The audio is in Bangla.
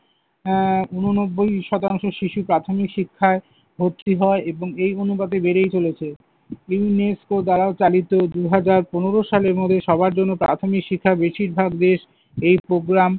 আহ উননব্বই শতাংশ শিশু প্রাথমিক শিক্ষায় ভর্তি হয় এবং এই অনুপাতে বেড়েই চলেছে UNESCO দ্বারা চালিত দুহাজার পনেরো সালের মধ্যে সবার জন্য প্রাথমিক শিক্ষা বেশিরভাগ দেশ এই program